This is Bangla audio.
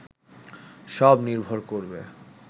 সব নির্ভর করবে